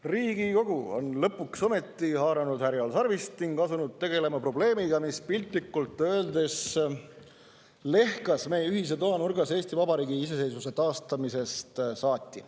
Riigikogu on lõpuks ometi haaranud härjal sarvist ning asunud tegelema probleemiga, mis piltlikult öeldes lehkas meie ühise toa nurgas Eesti Vabariigi iseseisvuse taastamisest saati.